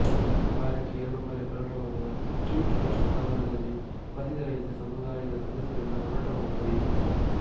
ವಾರಕ್ಕೆ ಎರಡು ಬಾರಿ ಪ್ರಕಟವಾಗುವ ಸ್ಟ್ರೀಟ್ ರೂಟ್ಸ್ ನಗರದಲ್ಲಿ ವಸತಿರಹಿತ ಸಮುದಾಯದ ಸದಸ್ಯರಿಂದ ಮಾರಾಟವಾಗುತ್ತದೆ